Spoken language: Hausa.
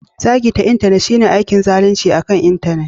Zagi ta Intanet shine aikin zalunci akan Intanet.